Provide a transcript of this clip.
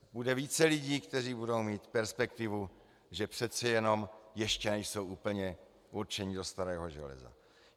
Bude více lidí, kteří budou mít perspektivu, že přece jenom ještě nejsou úplně určeni do starého železa.